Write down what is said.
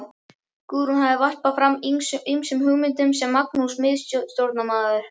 Guðrún hafði varpað fram ýmsum hugmyndum sem Magnús miðstjórnarmaður